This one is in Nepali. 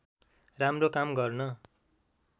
राम्रो काम गर्न